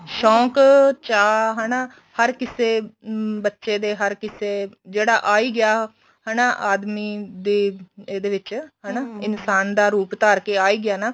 ਸ਼ੋਂਕ ਚਾ ਹਨਾ ਹਰ ਕਿਸੇ ਬੱਚੇ ਦੇ ਹਰ ਕਿਸੇ ਜਿਹੜਾ ਆਈ ਗਿਆ ਹੈਨਾ ਆਦਮੀ ਦੇ ਇਹਦੇ ਵਿੱਚ ਇਨਸਾਨ ਦਾ ਰੂਪ ਧਾਰ ਕੇ ਆਈ ਗਿਆ ਨਾ